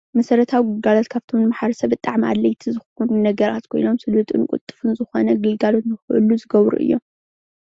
መሰረታዊ ግልግሎት ካብቶም ንማሕበረሰ ሰብ ኣድለይቲ ዝኮኑ ነገራት ኮይኖም ስሉጥን ቅልጡፍን ዝኮነ ግልጋሎት ንክህሉ ዝገብሩ እዮም፡፡